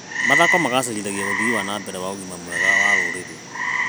Mathako macangagĩra ũthii wa na mbere wa ũgima wa mwĩrĩ wa rũrĩrĩ.